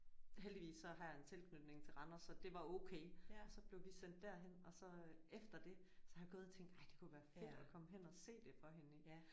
Heldigvis så har jeg en tilknytning til Randers så det var okay. Så blev vi sendt derhen og så efter det så har jeg gået og tænkt ej det kunne være fedt at komme hen og se det for hende